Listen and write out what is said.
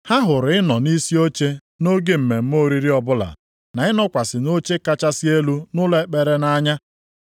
Ha hụrụ ịnọ nʼisi oche nʼoge mmemme oriri ọbụla na ịnọkwasị nʼoche kachasị elu nʼụlọ ekpere nʼanya.